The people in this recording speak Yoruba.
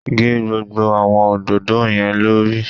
Gé gbogbo àwọn òdòdó yẹn lórí.